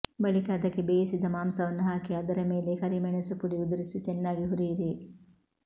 ಬಳಿಕ ಅದಕ್ಕೆ ಬೇಯಿಸಿದ ಮಾಂಸವನ್ನು ಹಾಕಿ ಅದರ ಮೇಲೆ ಕರಿಮೆಣಸು ಪುಡಿ ಉದುರಿಸಿ ಚೆನ್ನಾಗಿ ಹುರಿಯಿರಿ